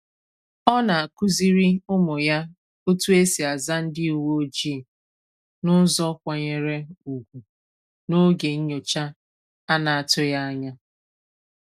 Ọ na-akụziri ụmụ ya otu esi aza ndị uwe ojii n’ụzọ kwanyere ugwu n’oge nyocha a na-atụghị anya.